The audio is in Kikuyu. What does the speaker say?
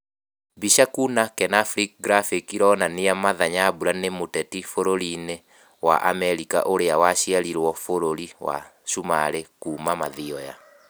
mbica kuna kenafri graphic ĩronania martha nyambura ni mũteti bũrũri-inĩ wa Amerika ũrĩa waciarirwo bũrũri wa sumarĩ kuma Mathioya